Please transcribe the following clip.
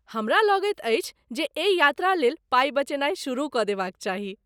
हमरा लगैत अछि जे एहि यात्रा लेल पाइ बचेनाइ शुरू कऽ देबाक चाही।